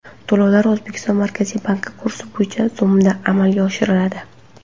To‘lovlar O‘zbekiston Markaziy banki kursi bo‘yicha so‘mda amalga oshiriladi.